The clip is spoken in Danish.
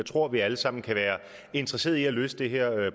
tror vi alle sammen kan være interesserede i at løse det her